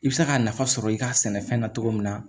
I bɛ se ka nafa sɔrɔ i ka sɛnɛfɛn na cogo min na